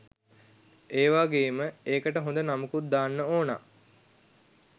ඒවගේම එකට හොද නමකුත් දාන්න ඕන